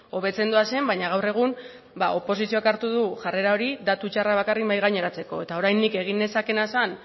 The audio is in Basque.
hobetzen doazen baina gaur egun oposizioak hartu du jarrera hori datu txarrak bakarrik mahai gaineratzeko eta orain nik egin nezakeena zen